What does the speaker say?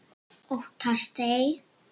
Óttast ei.